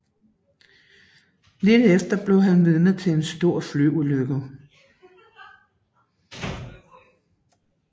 Lidt efter bliver han vidne til en stor flyulykke